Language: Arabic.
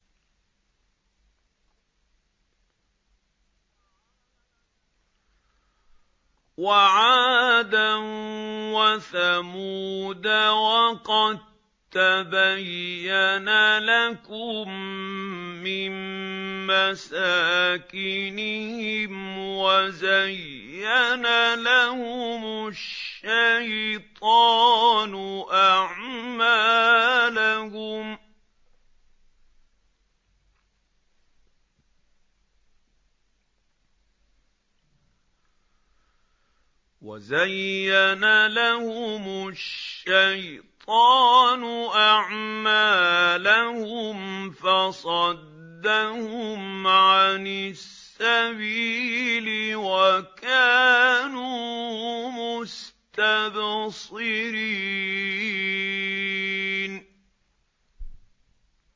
وَعَادًا وَثَمُودَ وَقَد تَّبَيَّنَ لَكُم مِّن مَّسَاكِنِهِمْ ۖ وَزَيَّنَ لَهُمُ الشَّيْطَانُ أَعْمَالَهُمْ فَصَدَّهُمْ عَنِ السَّبِيلِ وَكَانُوا مُسْتَبْصِرِينَ